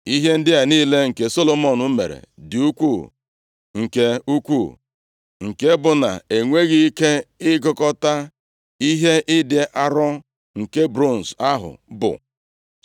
Ihe ndị a niile nke Solomọn mere dị ukwuu nke ukwu; nke bụ na-enweghị ike ịgụkọta ihe ịdị arọ nke bronz ahụ bụ.